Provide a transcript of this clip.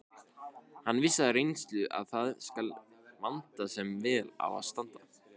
Hann vissi af reynslu að það skal vanda sem vel á að standa.